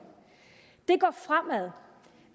det går fremad